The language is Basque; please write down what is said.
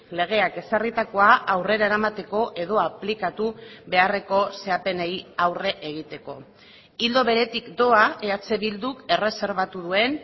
legeak ezarritakoa aurrera eramateko edo aplikatu beharreko zehapenei aurre egiteko ildo beretik doa eh bilduk erreserbatu duen